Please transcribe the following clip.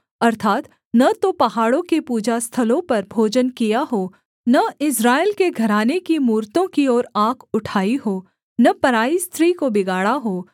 अर्थात् न तो पहाड़ों के पूजा स्थलों पर भोजन किया हो न इस्राएल के घराने की मूरतों की ओर आँख उठाई हो न पराई स्त्री को बिगाड़ा हो